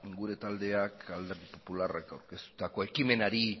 gure taldeak alderdi popularrak aurkeztutako ekimenari